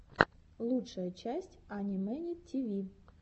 лучшая часть ани мэни тиви